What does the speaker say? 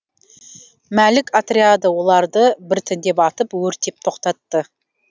мәлік отряды оларды біртіндеп атып өртеп тоқтатты